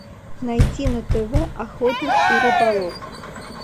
найти на тв охотник и рыболов